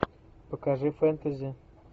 покажи фэнтези